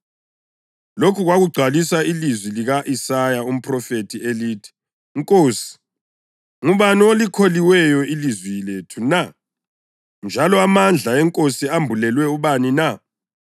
Lokhu kwakugcwalisa ilizwi lika-Isaya umphrofethi elithi: “Nkosi, ngubani olikholiweyo ilizwi lethu na, njalo amandla eNkosi ambulelwe ubani na?” + 12.38 U-Isaya 53.1